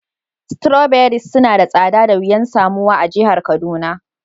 Strawberries suna da tsada da wiyan samuwa a'jihar Kaduna.